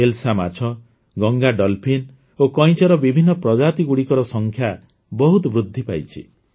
ହିଲ୍ସା ମାଛ ଗଙ୍ଗା ଡଲ୍ଫିନ ଓ କଇଁଛର ବିଭିନ୍ନ ପ୍ରଜାତିଗୁଡ଼ିକର ସଂଖ୍ୟା ବହୁତ ବୃଦ୍ଧି ପାଇଛି